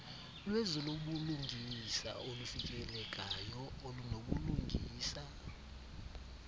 lwezobulungisa olufikelekayo olunobulungisa